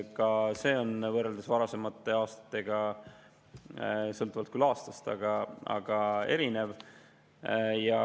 Ka see on võrreldes varasemate aastatega erinev, sõltuvalt küll aastast.